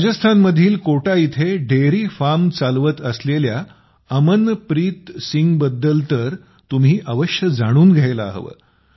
राजस्थानमधील कोटा येथे dairy farm चालवत असलेल्या अमनप्रीत सिंगबद्दल तर तुम्ही अवश्य जाणून घ्यायला हवे